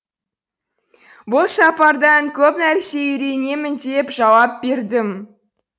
бұл сапардан көп нәрсе үйренемін деп жауап бердім